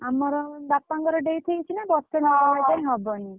ଆମର ବାପାକଣର death ହେଇଛି ନା ବର୍ଷେ ଣା ହବା ଯାଏ ହବନି।